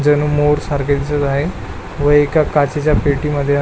जणू मोर सारखे दिसत आहे व एका काचेच्या पेटीमध्ये --